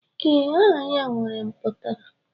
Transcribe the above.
Ee, aha ya nwere mputara.